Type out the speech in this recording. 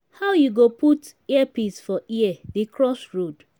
how you go put earpiece for ear dey cross road?